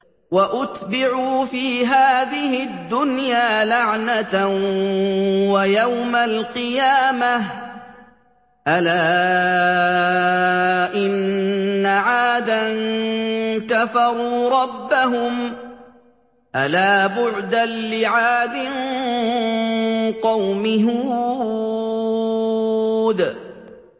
وَأُتْبِعُوا فِي هَٰذِهِ الدُّنْيَا لَعْنَةً وَيَوْمَ الْقِيَامَةِ ۗ أَلَا إِنَّ عَادًا كَفَرُوا رَبَّهُمْ ۗ أَلَا بُعْدًا لِّعَادٍ قَوْمِ هُودٍ